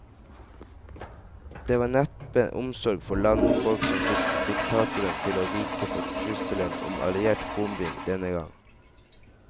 Det var neppe omsorg for land og folk som fikk diktatoren til å vike for trusselen om alliert bombing denne gang.